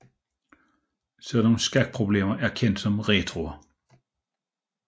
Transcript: Sådan skakproblemer er kendt som retroer